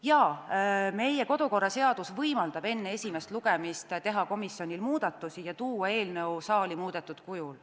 Jaa, meie kodukorraseadus võimaldab enne esimest lugemist teha komisjonil muudatusi ja tuua eelnõu saali muudetud kujul.